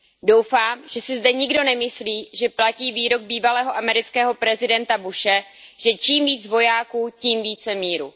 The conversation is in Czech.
Doufám, že si zde nikdo nemyslí, že platí výrok bývalého amerického prezidenta Bushe, že čím více vojáků, tím více míru.